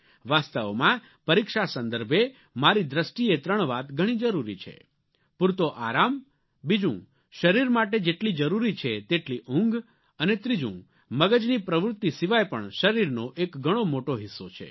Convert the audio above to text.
વાસ્તવમાં પરીક્ષા સંદર્ભે મારી દૃષ્ટિએ ત્રણ વાત ઘણી જરૂરી છે પૂરતો આરામ બીજું શરીર માટે જેટલી જરૂરી છે તેટલી ઊંઘ અને ત્રીજું મગજની પ્રવૃત્તિ સિવાય પણ શરીરનો એક ઘણો મોટો હિસ્સો છે